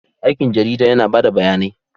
Aikin jarida yana ba da bayanai.